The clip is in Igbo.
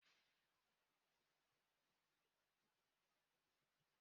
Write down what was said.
Obidike nwanne m nwoke gara igbu nkwụ.